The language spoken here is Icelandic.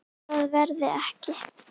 Það verði ekki.